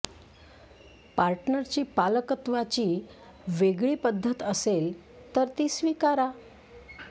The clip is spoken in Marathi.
पार्टनरची पालकत्वाची वेगळी पद्धत असेल तर ती स्वीकारा